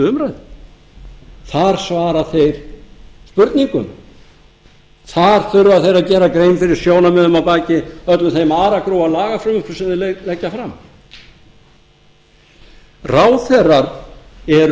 umræðu þar svara þeir spurningum þar þurfa þeir að gera grein fyrir sjónarmiðum að baki öllum þeim aragrúa af lagafrumvörpum sem þeir leggja fram ráðherrar eru